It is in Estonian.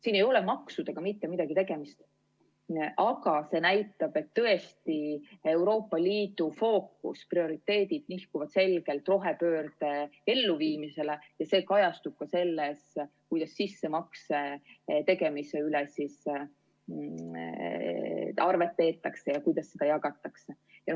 Siin ei ole maksudega mitte midagi tegemist, aga see näitab, et tõesti Euroopa Liidu fookus, prioriteedid nihkuvad selgelt rohepöörde elluviimisele ja see kajastub ka selles, kuidas sissemakse tegemise üle arvet peetakse ja kuidas seda jagatakse.